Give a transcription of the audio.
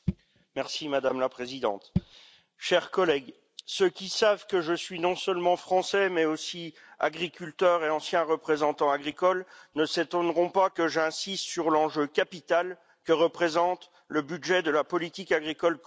Madame la Présidente, chers collègues, ceux qui savent que je suis non seulement français, mais aussi agriculteur et ancien représentant agricole, ne s'étonneront pas que j'insiste sur l'enjeu capital que représente le budget de la politique agricole commune.